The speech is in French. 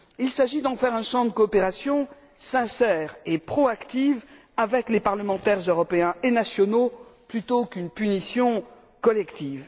Il s'agit d'en faire un cadre de coopération sincère et proactive avec les parlementaires européens et nationaux plutôt qu'une punition collective.